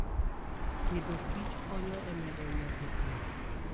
Agriculture and Food konyo e medo nyak e pur.